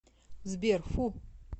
сбер фу